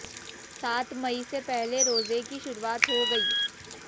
सात मई से पहले रोजे की शुरुआत हो गई